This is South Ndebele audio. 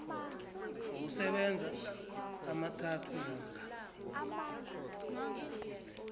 wokusebenza amathathu namkha